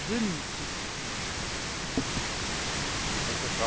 Frau Präsidentin, liebe Kolleginnen, liebe Kollegen!